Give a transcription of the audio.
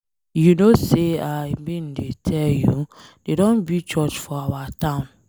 You know say I bin dey tell you. Dey don build church for our town.